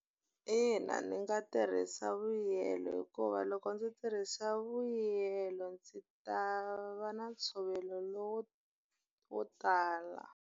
Ina ndzi nga tirhisa vuyelo hikuva loko ndzi tirhisa vuyelo, ndzi ta va na ntshovelo lowu wo tala.